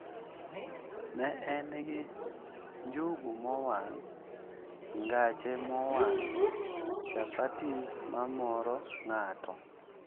Ne en gi njugu mowang', ngache mowang', chapattis mamoro ng'ato,